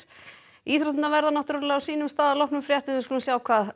íþróttir verða á sínum stað að loknum fréttum við skulum sjá